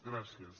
gràcies